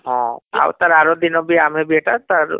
ହଁ ଆଉ ତାର ଆର ଦିନ ଆମେ ବି ଏଟା ତାର